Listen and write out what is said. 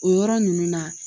O yɔrɔ nunnu na